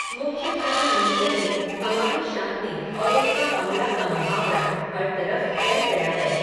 मुख्यधारा मीडिया में, हमारी शान्ति, और उनका हमला का मुहावरा, हर तरफ़ फैल गया है